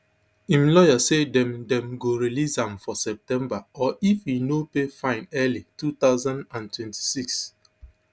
im lawyer say dem dem go release am for september or if e no pay fine early two thousand and twenty-six